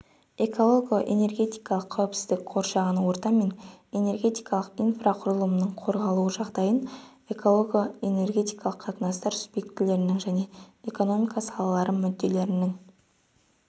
эколого-энергетикалық қауіпсіздік қоршаған орта мен энергетикалық инфрақұрылымның қорғалуы жағдайын эколого-энергетикалық қатынастар субъектілерінің және эконономика салалары мүдделерінің